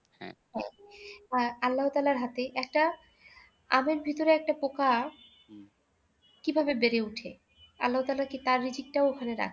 হ্যাঁ, আল্লাহ তায়ালার হাতেই একটা আমের ভিতরে একটা পোকা কিভাবে বেড়ে ওঠে? আল্লাহতালা কি তার রিজিকটাও ওখানে রাখে